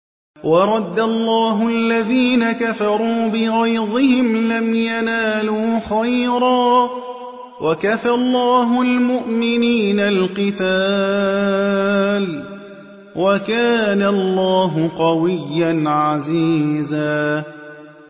وَرَدَّ اللَّهُ الَّذِينَ كَفَرُوا بِغَيْظِهِمْ لَمْ يَنَالُوا خَيْرًا ۚ وَكَفَى اللَّهُ الْمُؤْمِنِينَ الْقِتَالَ ۚ وَكَانَ اللَّهُ قَوِيًّا عَزِيزًا